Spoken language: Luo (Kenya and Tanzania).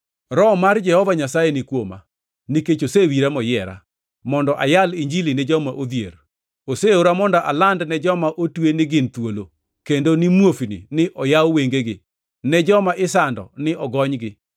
“Roho mar Jehova Nyasaye ni kuoma, nikech osewira moyiera, mondo ayal Injili ne joma odhier. Oseora mondo aland ne joma otwe ni gin thuolo, kendo ni muofni ni oyaw wengegi, ne joma isando ni ogonygi,